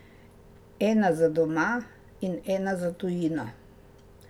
Ena za doma in ena za tujino.